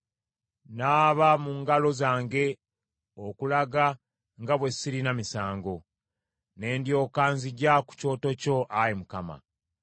Naaba mu ngalo zange okulaga nga bwe sirina misango; ne ndyoka nzija ku Kyoto kyo, Ayi Mukama ;